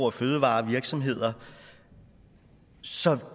og fødevarevirksomheder så